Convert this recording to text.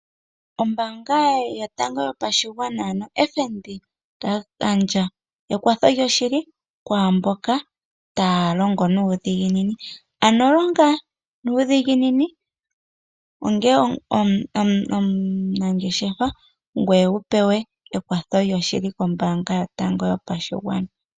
Ombaanga yotango yopashigwana ano FNB ota gandja ekwatho lyoshili kwaamboka taya longo nuudhiginini, ano longa nuudhiginini onge omunangeshefa ngoye wupewe ekwatho lyoshili kombaanga yotango yopashigwana.